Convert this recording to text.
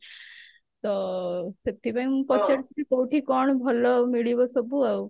ତ ସେଥିପାଇଁ ମୁଁ ପଚାରୁଛି କଉଠି କଣ ଭଲ ମିଳିବ ସବୁ ଆଉ